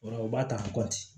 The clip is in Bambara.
O la u b'a ta